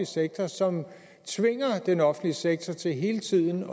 sektor som tvinger den offentlige sektor til hele tiden